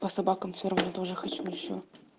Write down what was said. по собакам все равно тоже хочу ещё